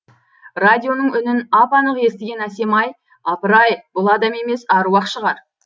радионың үнін ап анық естіген әсемай апырай бұл адам емес әруақ шығар